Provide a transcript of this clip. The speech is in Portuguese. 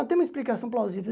Mas tem uma explicação plausível?